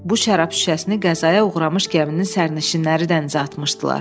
Bu şərab şüşəsini qəzaya uğramış gəminin sərnişinləri dənizə atmışdılar.